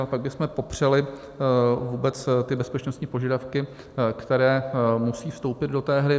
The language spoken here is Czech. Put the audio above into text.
Ale pak bychom popřeli vůbec ty bezpečnostní požadavky, které musí vstoupit do té hry.